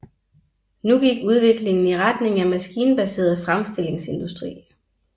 Nu gik udviklingen i retning af maskinbaseret fremstillingsindustri